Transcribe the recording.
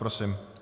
Prosím.